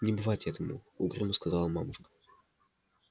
не бывать этому угрюмо сказала мамушка